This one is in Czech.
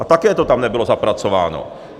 A také to tam nebylo zapracováno.